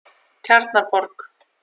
Tjarnarborg